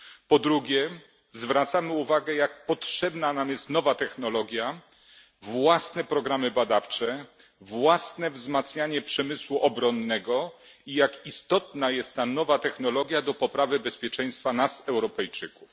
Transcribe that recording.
Po drugie, zwracamy uwagę, jak potrzebna nam jest nowa technologia, własne programy badawcze, własne wzmacnianie przemysłu obronnego i jak istotna jest ta nowa technologia do poprawy bezpieczeństwa nas, Europejczyków.